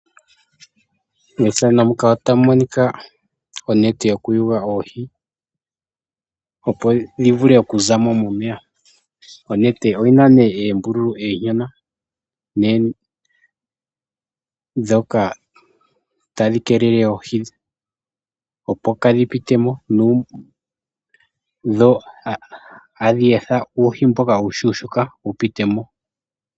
Opuna oonete dhono hadhi longithwa okuyula oohi, opo dhi vule okuzamo momeya. Ohadhi kala dhina uumbululu uushona opo oohi oonene kadhi pitemo, ohadhi etha ashike uuhi mbono uushona owo wupitemo.